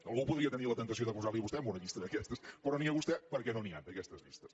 algú podria tenir la temptació de posar lo a vostè en una llista d’aquestes però ni a vostè perquè no n’hi han d’aquestes llistes